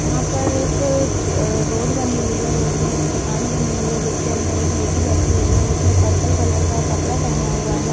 यहाँ पर एक अ रोड बनी हुई है | रोड में एक दुकान बनी हुई है जोकी अंदर एक लेडी बैठी हुई है उसने पर्पल कलर का कपड़ा पहने हुआ है।